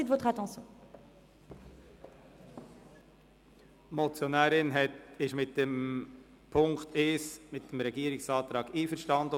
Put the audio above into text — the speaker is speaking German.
Die Motionärin ist betreffend Punkt 1 mit dem Antrag des Regierungsrats auf Annahme und gleichzeitige Abschreibung einverstanden.